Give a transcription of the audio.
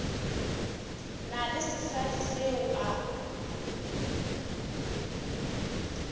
na le sesadi seo a